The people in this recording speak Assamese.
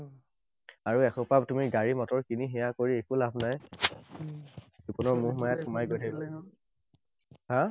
আৰু এসোপা তুমি গাড়ী মটৰ কিনি সেইয়া কৰি একো লাভ নাই। জীৱনৰ মোহ মায়াত সোমাই গৈ থাকিবা হা?